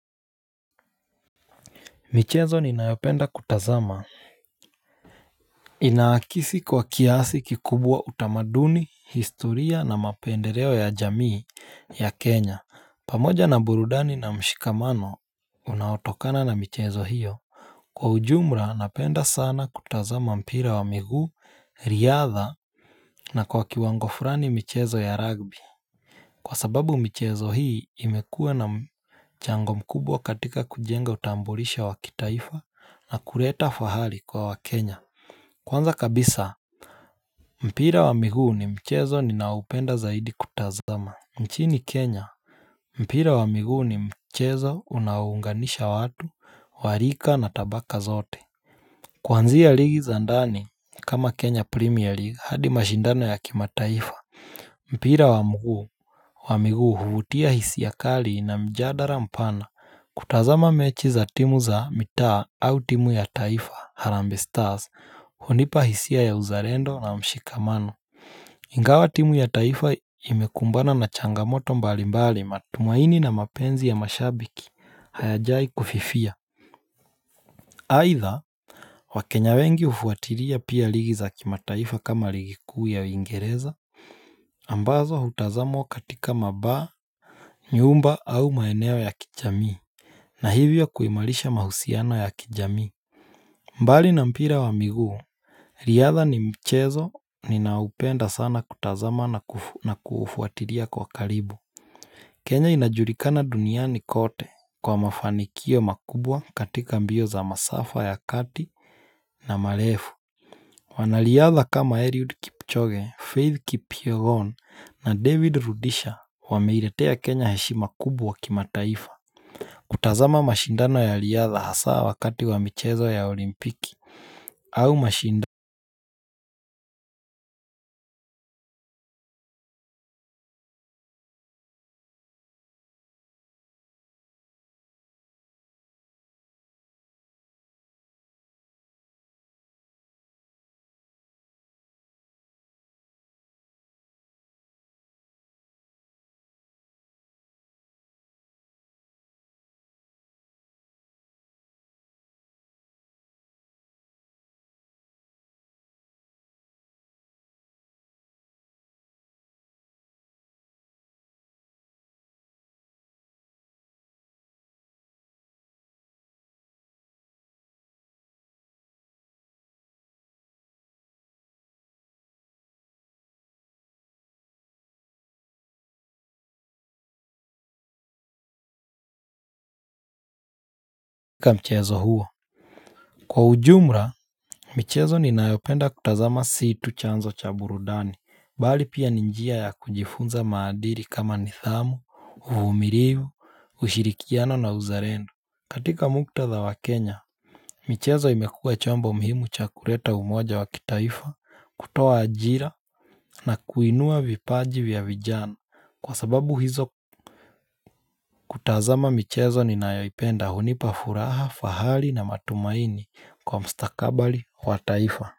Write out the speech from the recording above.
Michezo ni nayopenda kutazama. Inaakisi kwa kiasi kikubwa utamaduni, historia na mapendereo ya jamii ya Kenya, pamoja na burudani na mshikamano unautokana na michezo hiyo. Kwa ujumra napenda sana kutazama mpira wa miguu, riadha na kwa kiwango furani michezo ya rugby. Kwa sababu mchezo hii imekue na mchango mkubwa katika kujenga utambulisho wakitaifa na kuleta fahali kwa wakenya. Kwanza kabisa mpira wa miguu ni mchezo ni naopenda zaidi kutazama nchini kenya. Mpira wa miguu ni mchezo unaounganisha watu, warika na tabaka zote. Kwanzia ligi za ndani kama kenya premier league hadi mashindano ya kimataifa. Mpira wa mguu wa miguu huvutia hisia kali na mjadara mpana kutazama mechi za timu za mitaa au timu ya taifa Harambe Stars Hunipa hisia ya uzalendo na mshikamano. Ingawa timu ya taifa imekumbana na changamoto mbalimbali matumaini na mapenzi ya mashabiki hayajai kufifia. Haitha, wakenya wengi ufuatilia pia ligi za kimataifa kama ligikuu ya ingereza ambazo hutazamwa katika mabar, nyumba au maeneo ya kijamii na hivyo kuimalisha mahusiano ya kijamii. Mbali na mpira wa miguu riadha ni mchezo ni naupenda sana kutazama na kufuatilia kwa karibu Kenya inajulikana duniani kote kwa mafanikio makubwa katika mbio za masafa ya kati na malefu wanaliadha kama Eliud Kipchoge, Faith Kipirone na David Rudisha wameiletea Kenya heshima kubwa kimataifa. Kutazama mashindano ya liadha hasa wakati wa michezo ya olimpiki au mashindano kika mchezo hua kwa ujumla, michezo ni nayopenda kutazama si tu chanzo cha burudani, bali pia ni njia ya kujifunza maadili kama nidhamu, uvumilivu, ushirikiano na uzarendo. Katika muktadha wa Kenya Michezo imekuwe chombo muhimu chakureta umoja wa kitaifa kutoa ajira na kuinua vipaji vya vijana kwa sababu hizo kutazama michezo ni nayoipenda hunipa furaha, fahali na matumaini kwa mstakabali wa taifa.